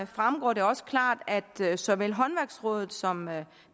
fremgår det også klart at såvel håndværksrådet som